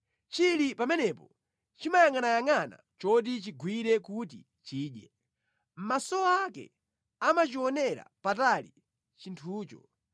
Chili pamenepo chimayangʼanayangʼana choti chigwire kuti chidye; maso ake amachionera patali chinthucho.